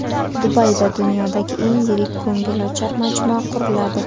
Dubayda dunyodagi eng yirik ko‘ngilochar majmua quriladi.